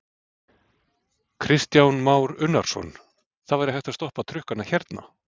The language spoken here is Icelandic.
Kristján Már Unnarsson: Það væri hægt að stoppa trukkana hérna?